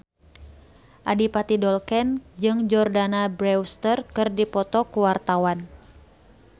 Adipati Dolken jeung Jordana Brewster keur dipoto ku wartawan